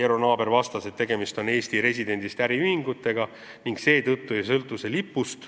Eero Naaber vastas, et tegemist on Eesti residendist äriühingutega, mistõttu see maks lipust ei sõltu.